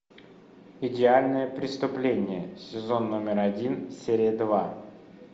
идеальное преступление сезон номер один серия два